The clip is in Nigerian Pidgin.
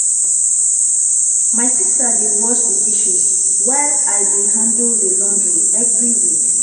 My sister dey wash the dishes, while I dey handle the laundry every week.